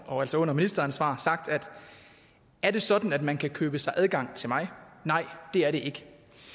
og altså under ministeransvar sagt er det sådan at man kan købe sig adgang til mig nej det er det ikke